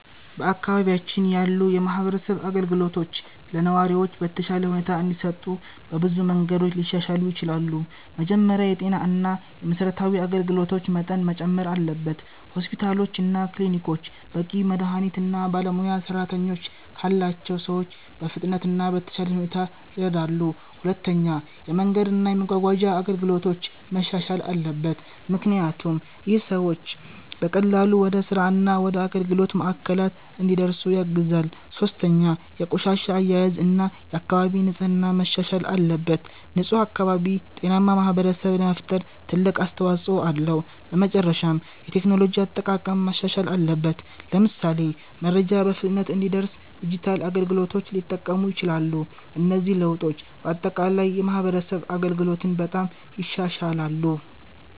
በአካባቢያችን ያሉ የማህበረሰብ አገልግሎቶች ለነዋሪዎች በተሻለ ሁኔታ እንዲሰጡ በብዙ መንገዶች ሊሻሻሉ ይችላሉ። መጀመሪያ የጤና እና የመሠረታዊ አገልግሎቶች መጠን መጨመር አለበት። ሆስፒታሎች እና ክሊኒኮች በቂ መድሀኒት እና ባለሙያ ሰራተኞች ካላቸው ሰዎች በፍጥነት እና በተሻለ ሁኔታ ይረዳሉ። ሁለተኛ የመንገድ እና የመጓጓዣ አገልግሎቶች መሻሻል አለበት፣ ምክንያቱም ይህ ሰዎች በቀላሉ ወደ ስራ እና ወደ አገልግሎት ማዕከላት እንዲደርሱ ያግዛል። ሶስተኛ የቆሻሻ አያያዝ እና የአካባቢ ንጽህና መሻሻል አለበት። ንፁህ አካባቢ ጤናማ ማህበረሰብ ለመፍጠር ትልቅ አስተዋጽኦ አለው። በመጨረሻም የቴክኖሎጂ አጠቃቀም ማሻሻል አለበት፣ ለምሳሌ መረጃ በፍጥነት እንዲደርስ ዲጂታል አገልግሎቶች ሊጠቀሙ ይችላሉ። እነዚህ ለውጦች በአጠቃላይ የማህበረሰብ አገልግሎትን በጣም ይሻሻላሉ።